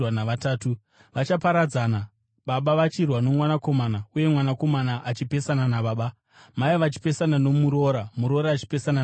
Vachaparadzana, baba vachirwa nomwanakomana uye mwanakomana achipesana nababa, mai vachipesana nomuroora, muroora achipesana navamwene.”